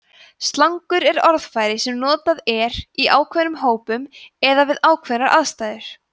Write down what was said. slangur er orðfæri sem notað er í ákveðnum hópum eða við ákveðnar aðstæður